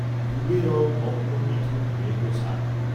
ডুবে রও মগ্ন মিথুন মেঘছায়